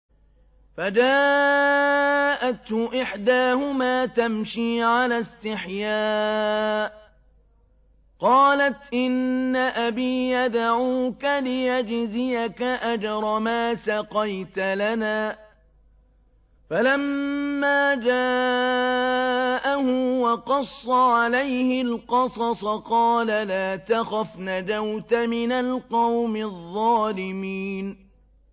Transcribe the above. فَجَاءَتْهُ إِحْدَاهُمَا تَمْشِي عَلَى اسْتِحْيَاءٍ قَالَتْ إِنَّ أَبِي يَدْعُوكَ لِيَجْزِيَكَ أَجْرَ مَا سَقَيْتَ لَنَا ۚ فَلَمَّا جَاءَهُ وَقَصَّ عَلَيْهِ الْقَصَصَ قَالَ لَا تَخَفْ ۖ نَجَوْتَ مِنَ الْقَوْمِ الظَّالِمِينَ